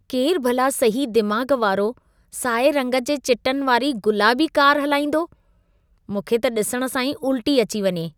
केरु भला सही दिमाग़ वारो साए रंग जे चिटनि वारी गुलाबी कार हलाईंदो? मूंखे त ॾिसण सां ई उल्टी अचे वञे।